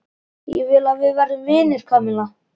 Ég vil að við verðum vinir, Kamilla.